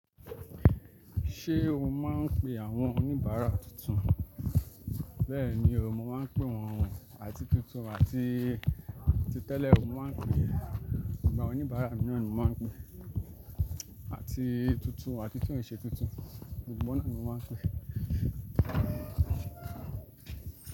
Ṣé o máa ń pe àwọn oníbàárà tuntun? Bẹ́ẹ̀ni, mo máa ń pe wọ́n àti tuntun àti, àti tẹ́lẹ̀, mo máa ń pe ń bá oníbàárà mìíràn ni mo máa ń pe àti tuntun àti èyí tí kìí se tuntun, gbogbo náà ni mo máa ń pe.